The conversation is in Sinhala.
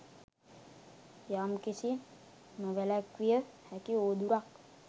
යම්කිසි නොවැළැක්විය හැකි උවදුරක්